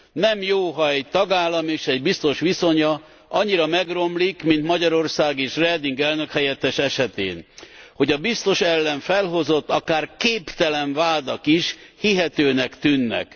Nem jó, ha egy tagállam és egy biztos viszonya annyira megromlik, mint Magyarország és Reding elnökhelyettes esetén, olyannyira, hogy a biztos ellen felhozott akár képtelen vádak is hihetőnek tűnnek.